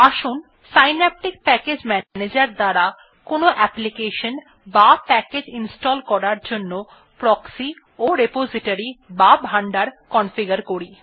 আসুন Synaptic package manager দ্বারা কোনো অ্যাপ্লিকেশন বা প্যাকেজ ইনস্টল করার জন্য প্রক্সি ও রিপোজিটরি বা ভান্ডার কনফিগার করি